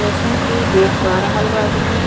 ऐसन की देख पा रहल बा आदमी --